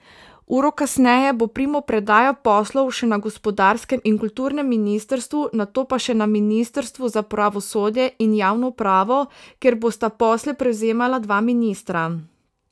Uro kasneje bo primopredaja poslov še na gospodarskem in kulturnem ministrstvu, nato pa še na ministrstvu za pravosodje in javno upravo, kjer bosta posle prevzemala dva ministra.